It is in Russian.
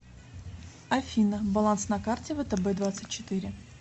афина баланс на карте втб двадцать четыре